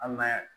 An ma yan